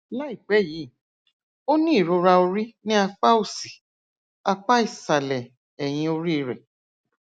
láìpẹ yìí ó ní ìrora orí ní apá òsì apá ìsàlẹ ẹyìn orí rẹ